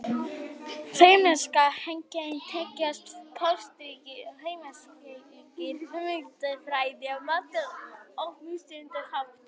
Femínískar kenningar tengjast pólitískri og heimspekilegri hugmyndafræði á margan og mismunandi hátt.